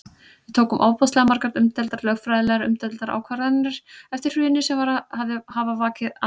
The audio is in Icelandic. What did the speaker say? Við tókum ofboðslega margar umdeildar, lögfræðilega umdeildar ákvarðanir eftir hrunið sem hafa vakið athygli?